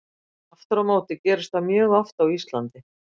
Aftur á móti gerist það mjög oft á Íslandi.